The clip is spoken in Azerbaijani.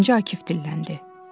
Birinci Akif dilləndi.